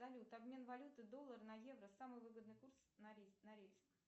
салют обмен валюты доллара на евро самый выгодный курс норильск